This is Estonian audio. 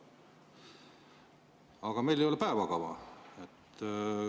Aga meil ei ole päevakava.